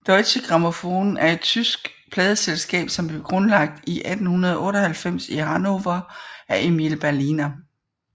Deutsche Grammophon er et tysk pladeselskab som blev grundlagt i 1898 i Hannover af Emil Berliner